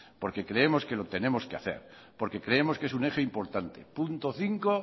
porque creemos que lo tenemos que hacer porque creemos que es un eje importante punto cinco